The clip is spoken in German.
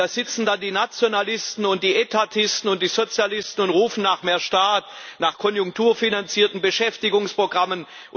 Da sitzen da die Nationalisten, die Etatisten und die Sozialisten und rufen nach mehr Staat, nach konjunkturfinanzierten Beschäftigungsprogrammen.